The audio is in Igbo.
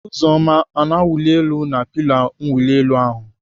Oziọma ọ na-awuli elu na pilo mwuli elu ahụ?